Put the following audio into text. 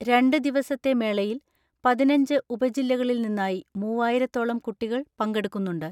രണ്ട് ദിവസത്തെ മേളയിൽ പതിനഞ്ച് ഉപജില്ലകളിൽ നിന്നായി മൂവായിരത്തോളം കുട്ടികൾ പങ്കെടുക്കുന്നുണ്ട്.